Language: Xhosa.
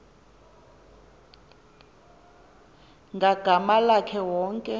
ngagama lakhe wonke